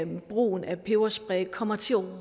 brugen af peberspray kommer til